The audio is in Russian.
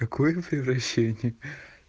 такое превращение